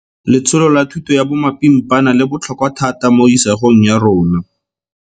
Letsholo la thuto ya bomapimpana le botlhokwa thata mo isagong ya rona.